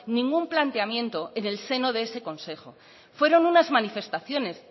ningún planteamiento en el seno de ese consejo fueron unas manifestaciones